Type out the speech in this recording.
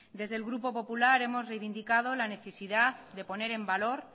desde el grupo popular hemos reivindicado la necesidad de poner en valor